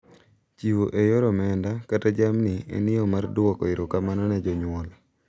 Chiwo e yor omenda kata jamni en yo mar duoko erokamano ne jonyuol.